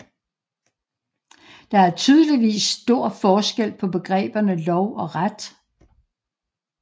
Der er tydeligvis stor forskel på begreberne lov og ret